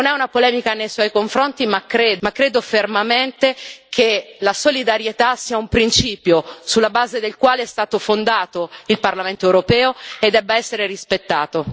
Non è una polemica nei suoi confronti, ma credo fermamente che la solidarietà sia un principio sulla base del quale è stato fondato il Parlamento europeo e debba essere rispettato.